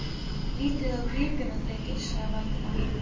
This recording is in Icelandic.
Lítið á gripina, drengir! sagði Valdimar.